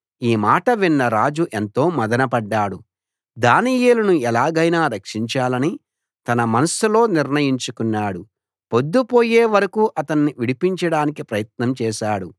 ఈ మాట విన్న రాజు ఎంతో మధనపడ్డాడు దానియేలును ఎలాగైనా రక్షించాలని తన మనస్సులో నిర్ణయించుకున్నాడు పొద్దుపోయే వరకూ అతణ్ణి విడిపించడానికి ప్రయత్నం చేశాడు